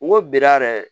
N ko bida yɛrɛ